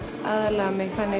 aðlaga mig þannig